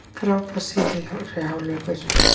Frábær síðari hálfleikur